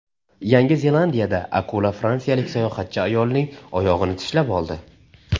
Yangi Zelandiyada akula fransiyalik sayohatchi ayolning oyog‘ini tishlab oldi.